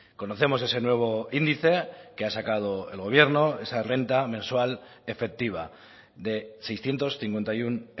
conocemos ese nuevo índice que ha sacado el gobierno esa renta mensual efectiva de seiscientos cincuenta y uno